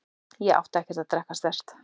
Ég átti ekki að drekka sterkt.